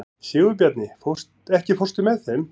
Sigurbjarni, ekki fórstu með þeim?